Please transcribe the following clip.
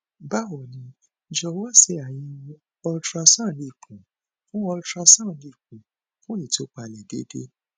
bawo ni jọwọ ṣe ayẹwo ultrasound ikun fun ultrasound ikun fun itupalẹ deede